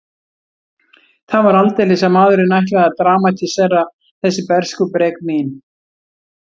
Það var aldeilis að maðurinn ætlaði að dramatísera þessi bernskubrek mín.